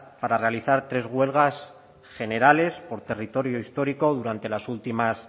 para realizar tres huelgas generales por territorio histórico durante las últimas